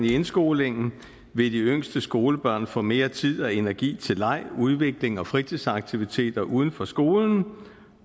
indskolingen vil de yngste skolebørn få mere tid og energi til leg udvikling og fritidsaktiviteter uden for skolen